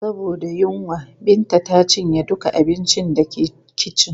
Saboda yunwa, Binta ta cinye duka abincin da ke kicin.